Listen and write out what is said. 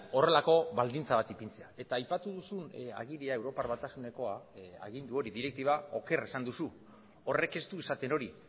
horrelako baldintza bat ipintzea eta aipatu duzun agiria europar batasunekoa agindu hori direktiba oker esan duzu horrek ez du esaten hori